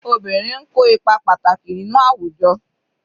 Obìnrin n ko ipa pàtàkì nínú àwùjọ.